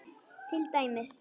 Til dæmis.